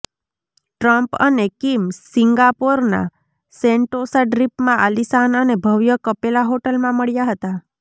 Trump અને Kim સિંગાપોરના Sentosa દ્વીપમાં આલિશાન અને ભવ્ય કપેલા હોટલમાં મળ્યા હતા